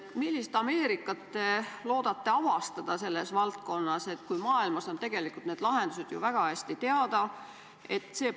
Millist Ameerikat te loodate selles valdkonnas avastada, kui maailmas on tegelikult need lahendused väga hästi teada?